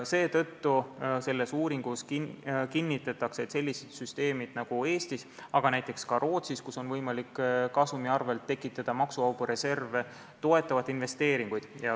Seetõttu kinnitatakse selles uuringus, et sellised süsteemid nagu Eestis, aga ka Rootsis, kus on võimalik kasumi arvel tekitada maksuvabu reserve, toetavad investeeringuid.